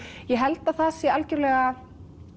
ég held að það sé algjörlega